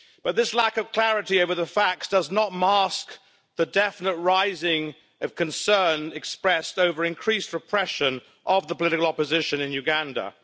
But this lack of clarity over the facts does not mask the definite increase in concern expressed over increased repression of the political opposition in Uganda.